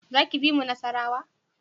Za ki bi mu Nasarawa?